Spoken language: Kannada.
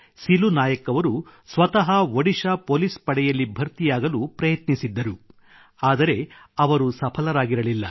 ಸಿಲು ನಾಯಕ್ ಅವರು ಸ್ವತಃ ಒಡಿಶಾ ಪೋಲಿಸ್ ಪಡೆಯಲ್ಲಿ ಭರ್ತಿಯಾಗಲು ಪ್ರಯತ್ನಿಸಿದ್ದರು ಆದರೆ ಅವರು ಸಫಲರಾಗಿರಲಿಲ್ಲ